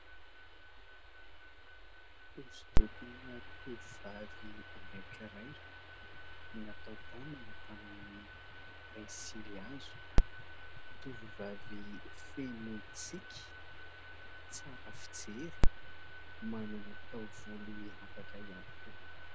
Hosodokona tovovavy anankiray natao tanana tamin'ny pensily hazo, tovovavy feno tsiky, tsara fijery, manana taovolo miavaka ihany koa.